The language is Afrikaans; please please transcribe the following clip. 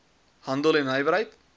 handel en nywerheid